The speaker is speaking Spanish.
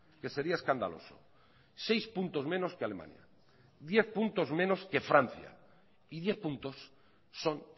que sería escandaloso seis puntos menos que alemania diez puntos menos que francia y diez puntos son